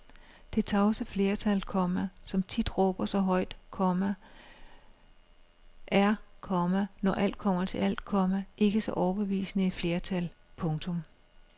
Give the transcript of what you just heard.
Det tavse flertal, komma som tit råber så højt, komma er, komma når alt kommer til alt, komma ikke så overbevisende et flertal. punktum